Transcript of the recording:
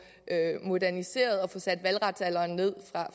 moderniseret og få sat valgretsalderen ned